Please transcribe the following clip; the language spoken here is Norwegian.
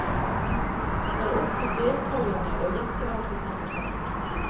Det er opp til deltagerne å gjette hvem som snakker sant.